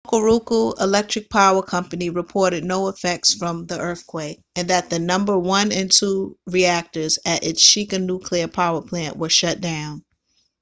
hokuriku electric power co reported no effects from the earthquake and that the number 1 and 2 reactors at its shika nuclear power plant were shut down